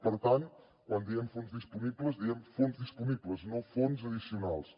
per tant quan diem fons disponibles diem fons disponibles no fons addicionals